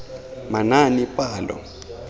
manaanepalo